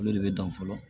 Olu de bɛ dan fɔlɔ